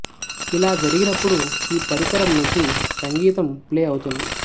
ఇలా జరిగినప్పుడు ఈ పరికరం నుంచి సంగీతం ప్లే అవుతుంది